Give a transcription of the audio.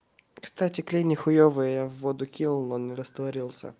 кстати клей не хуёвый я в воду кинул он не растворился